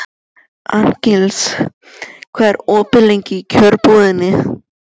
Arngils, hvað er opið lengi í Kjörbúðinni?